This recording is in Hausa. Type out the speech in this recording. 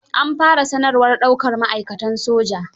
An fara sanarwar daukar ma'aikatan soja.